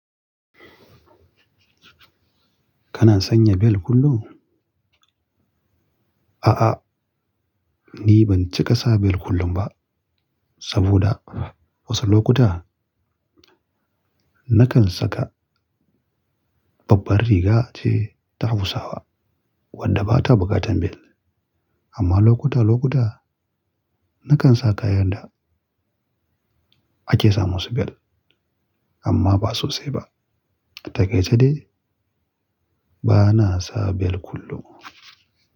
Kana sanya bel kullum? A'a, ni ban cika sa belt kullum ba. Saboda wasu lokuta nakan saka babbar riga ce ta Hausawa wadda bata buƙatan belt. Amma lokuta lokuta, nakan sa kayan da ake samu su belt amma ba sosai ba. Takaice ne bana sa bel kullum.